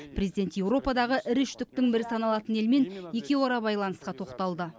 президент еуропадағы ірі үштіктің бірі саналатын елмен екеуара байланысқа тоқталды